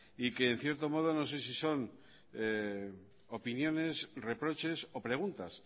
y que en cierto modo no sé si son opiniones reproches o preguntas